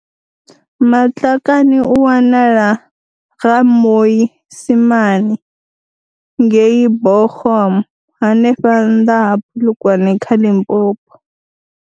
Matlakane u wanala Ga-Moi simane ngei Buchum hanefha nnḓa ha Polokwane kha Limpopo.